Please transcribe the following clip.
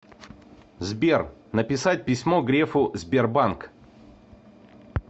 сбер написать письмо грефу сбербанк